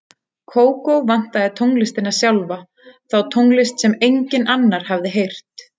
Kókó vantaði tónlistina sjálfa, þá tónlist sem enginn annar hafði heyrt.